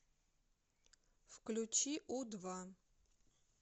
включи у два